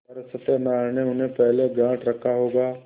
पर सत्यनारायण ने उन्हें पहले गॉँठ रखा होगा